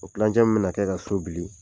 O tilancɛ min bɛna kɛ ka so bili